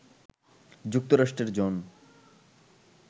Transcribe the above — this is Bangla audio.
যুক্তরাষ্ট্রের জন